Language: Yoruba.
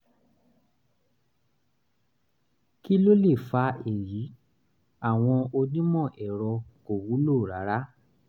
kí ló lè fa èyí? àwọn onímọ̀ ẹ̀rọ kò wúlò rárá